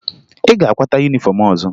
Ị ga-akwata yunifọmụ ọzọ!